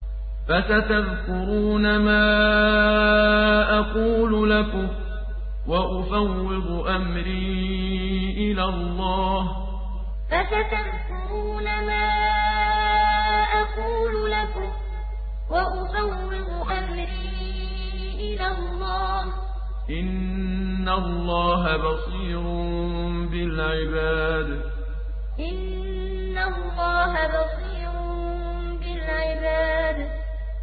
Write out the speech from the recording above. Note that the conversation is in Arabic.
فَسَتَذْكُرُونَ مَا أَقُولُ لَكُمْ ۚ وَأُفَوِّضُ أَمْرِي إِلَى اللَّهِ ۚ إِنَّ اللَّهَ بَصِيرٌ بِالْعِبَادِ فَسَتَذْكُرُونَ مَا أَقُولُ لَكُمْ ۚ وَأُفَوِّضُ أَمْرِي إِلَى اللَّهِ ۚ إِنَّ اللَّهَ بَصِيرٌ بِالْعِبَادِ